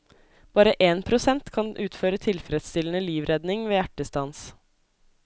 Bare én prosent kan utføre tilfredsstillende livredning ved hjertestans.